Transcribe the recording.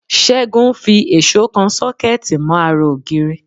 Ṣẹ́gun ń fi èṣó kan Ṣọ́kẹ́ẹ̀tì mọ́ ara ògiri